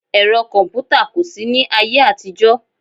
Ẹ̀rọ kọ̀mpútà kò sí ní ayé àtijọ́